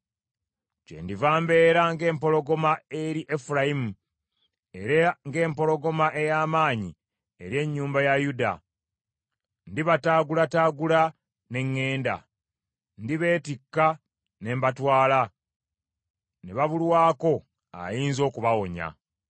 Kyendiva mbeera ng’empologoma eri Efulayimu, era ng’empologoma ey’amaanyi eri ennyumba ya Yuda. Ndibataagulataagula ne ŋŋenda; ndibeetikka ne mbatwala, ne babulwako ayinza okubawonya.